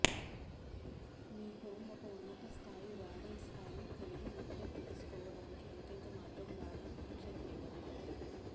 మీ home ఒక ఉన్నత స్థాయి రాడాన్ స్థాయిని కలిగి ఉంటే తెలుసుకోవడానికి ఏకైక మార్గం రాడాన్ పరీక్ష చేయడమే